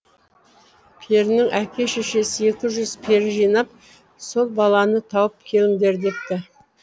перінің әке шешесі екі жүз пері жинап сол баланы тауып келіңдер депті